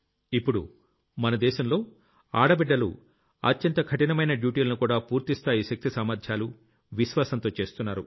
ఇప్పుడు మన దేశంలో అడబిడ్డలు అత్యంత కఠినమైన Dutyలనుకూడా పూర్తి స్థాయి శక్తి సామర్థ్యాలు విశ్వాసంతో చేస్తున్నారు